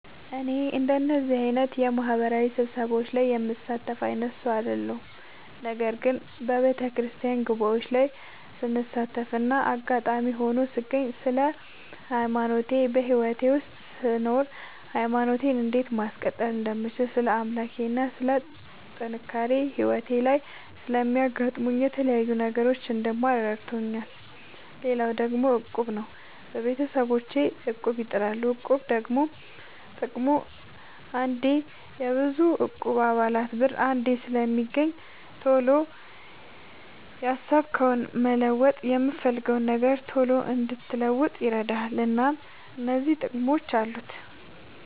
እኔ እንደዚህ አይነት የማህበራዊ ስብሰባዎች ላይ የምሳተፍ አይነት ሰው አይደለሁም። ነገር ግን በየቤተክርስቲያን ጉባኤዎች ላይ ስሳተፍና አጋጣሚ ሆኖ ስገኝ ስለ ሃይማኖቴ በህይወቴ ውስጥ ስኖር ሃይማኖቴን እንዴት ማስቀጠል እንደምችል ስለ አምላኬ ስለ ጥንካሬ ህይወቴ ላይ ስለሚያጋጥሙኝ የተለያዩ ነገሮች እንድማር እንድረዳ ይረዳኛል። ሌላው ደግሞ እቁብ ነው። ቤተሰቦቼ እቁብ ይጥላሉ። እቁብ ደግሞ ጥቅሙ አንዴ የብዙ እቁብ የአባላት ብር አንዴ ስለሚገኝ ቶሎ ያሰብከውን መለወጥ የፈለግከውን ነገር ቶሎ እንድትለውጥ ይረዳል። እናም እነዚህ ጥቅሞች አሉት።